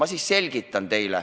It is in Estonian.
Ma siis selgitan.